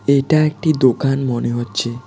এটা একটি দোকান মনে হচ্ছে।